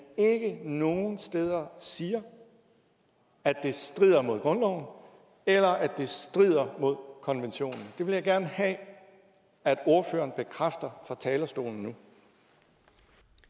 ikke nogen steder siger at det strider mod grundloven eller at det strider mod konventionen det vil jeg gerne have at ordføreren bekræfter fra talerstolen